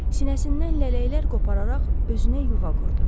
Sinəsindən lələklər qopararaq özünə yuva qurdu.